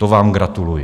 To vám gratuluji!